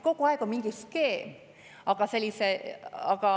Kogu aeg on mingi skeem.